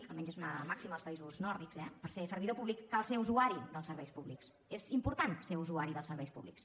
almenys és una màxima als països nòrdics eh per ser servidor públic cal ser usuari del serveis públics és important ser usuari dels serveis públics